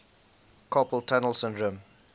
carpal tunnel syndrome